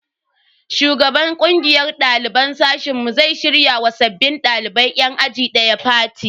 Shugaban kungiyar daliban sashen mu zai shirya ma sabbin dalibai yan aji daya fati.